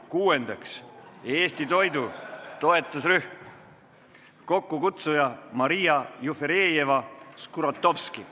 Kuuendaks, Eesti toidu toetusrühm, kokkukutsuja on Maria Jufereva-Skuratovski.